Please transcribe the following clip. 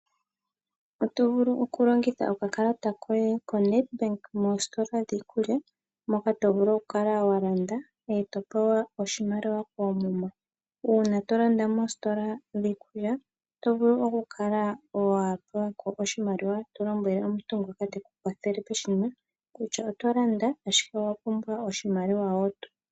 Oto vulu oku longitha oka kalata koye koNedbank moositola dhiikulya moka to vulu oku kala wa landa eto pewa oshimaliwa koomuma. Uuna to landa moositola dhiikulya oto vulu oku kala wa pewa ko oshimaliwa to lombwele owala omuntu ngoka teku kwathele peshina kutya oto landa ashike owa pumbwa wo oshimaliwa wo.